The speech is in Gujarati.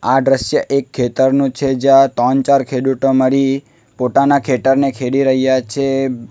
આ દ્રશ્ય એક ખેતરનો છે જ્યાં ત્રણ ચાર ખેડૂતો મારી પોતાના ખેતરને ખેડી રહ્યા છે.